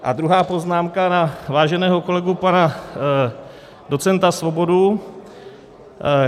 A druhá poznámka na váženého kolegu pana docenta Svobodu.